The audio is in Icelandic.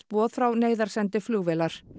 boð frá neyðarsendi flugvélar